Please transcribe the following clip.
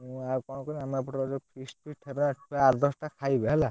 ମୁଁ ଆଉ କଣ କୁହନୀ ଆମର ଏପଟେ ଯୋଉ feast feast ହେବେ ସେଥିରେ ଆଠ ଦଶ ଟା ଖାଇବେ ହେଲା।